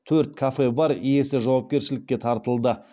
төрт кафе бар иесі жауапкершілікке тартылды